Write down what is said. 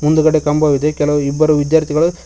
ಮುಂದ್ಗಡೆ ಕಂಬವಿದೆ ಕೆಲವು ಇಬ್ಬರು ವಿದ್ಯಾರ್ಥಿಗಳು--